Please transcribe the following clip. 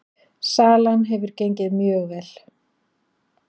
Salan hefur gengið mjög vel